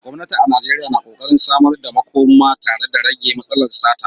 Gwamnati a Najeriya na ƙoƙarin samar da makoma tare da rage matsalar sata.